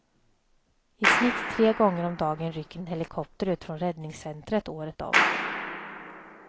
I snitt tre gånger om dagen rycker en helikopter ut från räddningscentret, året om.